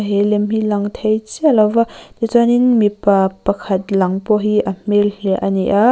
he lem hi a lang thei chiah lo va tichuanin mipa pakhat lang pawh hi a hmel hliah a ni a.